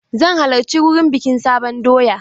Zan halarci wurin bikin sabon doya gobe.